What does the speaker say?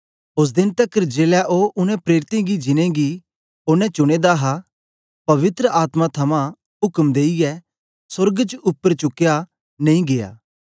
ओस देन तकर जेलै ओ उनै प्रेरितें गी जिनेंगी ओनें चुने दा हा पवित्र आत्मा थमां उक्म देईयै सोर्ग च उपर चुकया नेई गीया